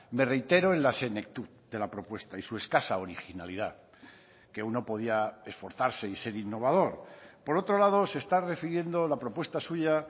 me reitero en la de la propuesta y su escasa originalidad que uno podía esforzarse y ser innovador por otro lado se está refiriendo la propuesta suya